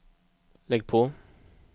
lägg på